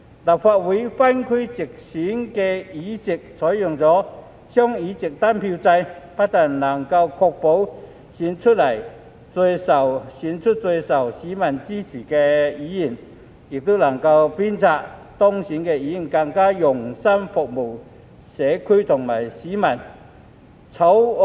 立法會分區直選的議席採用"雙議席單票制"，不但能夠確保選出最受市民支持的議員，亦能鞭策當選的議員更用心服務社區和市民。